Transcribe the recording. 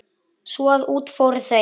Svo að út fóru þau.